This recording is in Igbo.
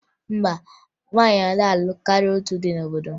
Mba, nwaanyị anaghị alụ karịa otu di n'obodo m